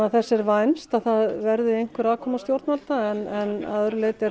þess er vænst að það verði einhver aðkoma stjórnvalda en